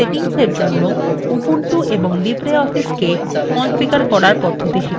আমরা keyboard এবং ভাষা সেটিংস জন্য ubuntu এবং libreoffice we configure করার পদ্ধতি শিখেছি